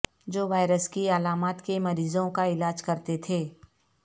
جو وائرس کی علامات کے مریضوں کا علاج کرتے تھے